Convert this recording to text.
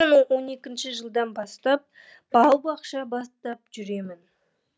екі мың он екінші жылдан бастап бау бақша бастап жүрмін